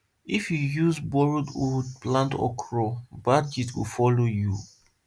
if you use borrowed hoe plant okra bad yield go follow you